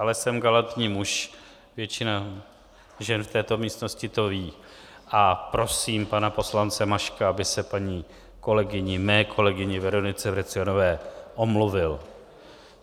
Ale jsem galantní muž, většina žen v této místnosti to ví, a prosím pana poslance Maška, aby se paní kolegyni, mé kolegyni Veronice Vrecionové, omluvil.